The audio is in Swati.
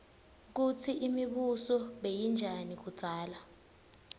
kutsi imibuso beyinjani kudzala